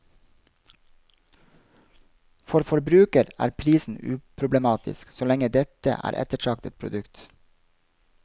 For forbruker er prisen uproblematisk, så lenge dette er et ettertraktet produkt.